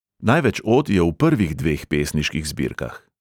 Največ od je v prvih dveh pesniških zbirkah.